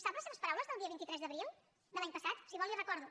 sap les seves paraules del dia vint tres d’abril de l’any passat si vol les hi recordo